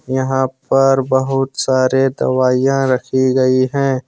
यहां पर बहुत सारे दवाइयां रखी गई हैं।